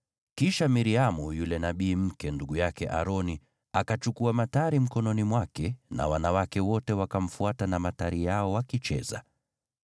Kisha Miriamu yule nabii mke, ndugu yake Aroni, akachukua matari mkononi mwake na wanawake wote wakamfuata na matari yao wakicheza.